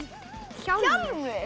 hjálmur